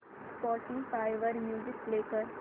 Spotify वर music play कर